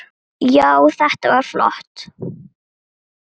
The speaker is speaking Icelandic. Já, þetta var flott.